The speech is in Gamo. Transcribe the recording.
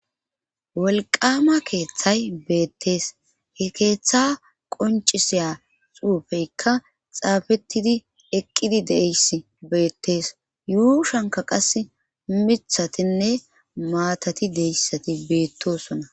wolqama keeththay beettees he keeththa qoncisiya xuufeykka xaafettidi eqqidi deeyss beettees yuu shanka qas mithatinne maatati deyssati beettosona